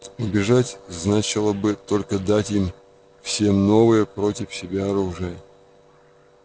убежать значило бы только дать им всем новое против себя оружие